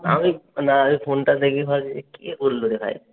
আমি না আমি ফোনটা দেখেই ভাবছি যে কে করলরে ভাই।